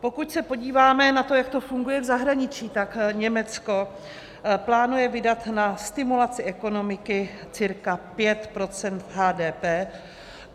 Pokud se podíváme na to, jak to funguje v zahraničí, tak Německo plánuje vydat na stimulaci ekonomiky cirka 5 % HDP.